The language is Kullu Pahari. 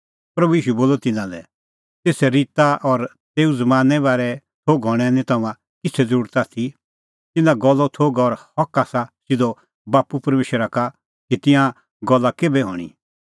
प्रभू ईशू बोलअ तिन्नां लै तेसा ऋता और तेऊ ज़मानें बारै थोघ हणें निं तम्हां किछ़ै ज़रुरत आथी तिन्नां गल्लो थोघ और हक आसा सिधअ बाप्पू परमेशरा का कि तिंयां गल्ला केभै हणीं